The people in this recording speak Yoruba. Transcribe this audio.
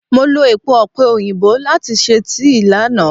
Mo lo èpo ọ̀pẹ̀ òyìnbó láti ṣe tíì lánàá.